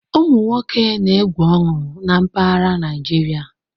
Ụmụ nwoke na-egwu ọñụ na mpaghara Naịjirịa.